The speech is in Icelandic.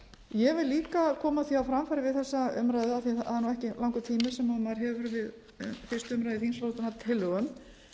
ég vil líka koma því á framfæri við þessa umræðu af því það er ekki langur tími sem maður hefur við fyrstu umræðu þingsályktunartillögu